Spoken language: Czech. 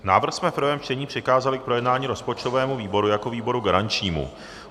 Návrh jsme v prvém čtení přikázali k projednání rozpočtovému výboru jako výboru garančnímu.